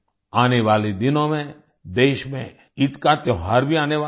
आने वाले दिनों में देश में ईद का त्योहार भी आने वाला है